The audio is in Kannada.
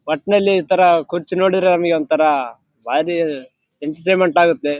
ಒಟ್ನಲ್ಲಿ ಈತರ ಕುರ್ಚಿ ನೋಡಿದ್ರೆ ನಮ್ಗೆ ಒಂತರಾ ಬಾರಿ ಎಂಟರ್ಟೇನ್‌ಮೆಂಟ್‌ ಆಗುತ್ತೆ.